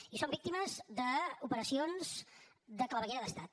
i som víctimes d’operacions de claveguera d’estat